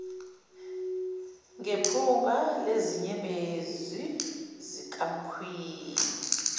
ngephunga lezinyembezi zikakhwini